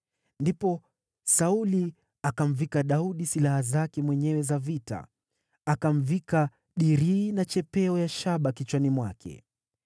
Ndipo Sauli akamvika Daudi silaha zake mwenyewe za vita. Akamvika dirii na chapeo ya shaba kichwani mwake.